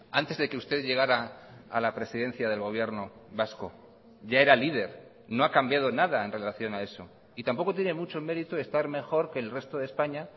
antes de que usted llegara a la presidencia del gobierno vasco ya era líder no ha cambiado nada en relación a eso y tampoco tiene mucho mérito estar mejor que el resto de españa